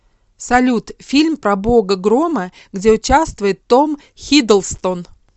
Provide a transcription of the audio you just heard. салют фильм про бога грома где участвует том хиддлстон